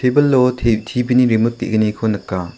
ebilo te T_B ni rimut ge·gniko nika.